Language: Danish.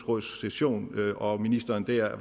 råds session og ministeren